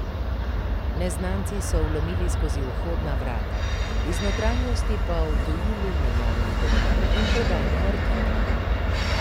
Neznanci so vlomili skozi vhodna vrata, iz notranjosti pa odtujili menjalni denar in prodajne artikle.